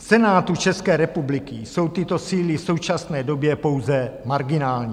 V Senátu České republiky jsou tyto síly v současné době pouze marginální.